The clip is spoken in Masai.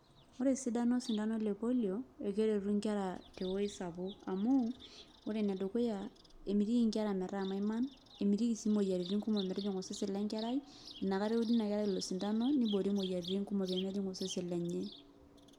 Ore esidano osindano le polio, ekeretu nkera tewoi sapuk. Amu, ore enedukuya, emitiki nkera metaa maiman, emitiki si moyiaritin kumok metijing'a osesen lenkerai, inakata eudi inakerai ilo sindano, niboori moyiaritin kumok pemejing' osesen lenye.